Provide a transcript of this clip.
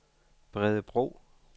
Bredebro